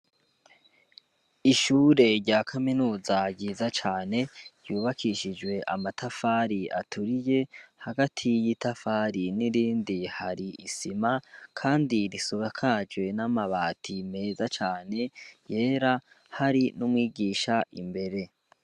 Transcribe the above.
Ishure rya kaminuza ryiza cane ryubakishijwe amatafari aturiye hagati yitafari n'irindi hari isima kandi risakajwe n'amabati meza cane yera, hari n'umwigisha imbere.